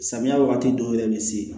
Samiya wagati dɔw yɛrɛ bɛ se